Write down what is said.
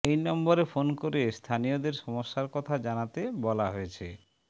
এই নম্বরে ফোন করে স্থানীয়দের সমস্যার কথা জানাতে বলা হয়েছে